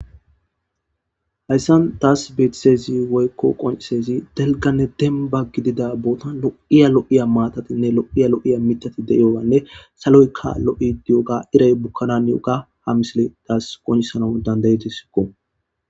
Hayssan taas beetizayss woykko qoncissizays delganne demba gidida bootan lo7iya lo7iya maatatinne lo7iya lo7iya mitati deiyoganne saloykka lo7i diyoga iray bukkan haniyoga ha misile taas qonccisana dandayidesiko.